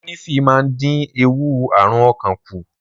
Ólífì máa ń dín ewu àrùn ọkàn kù.